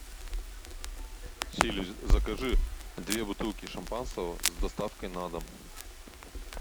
сири закажи две бутылки шампанского с доставкой на дом